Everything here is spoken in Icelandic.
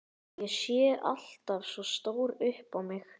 Ég sé alltaf svo stór upp á mig.